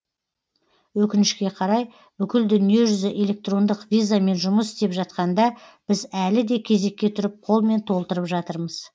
өкінішке қарай бүкіл дүниежүзі электрондық визамен жұмыс істеп жатқанда біз әлі де кезекке тұрып қолмен толтырып жатырмыз